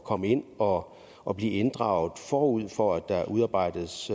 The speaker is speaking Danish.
komme ind og og blive inddraget forud for at der udarbejdes